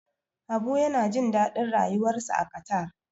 Habu yana jin daɗin rayuwarsa a Qatar.